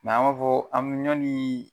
an b'a fɔ, an m yani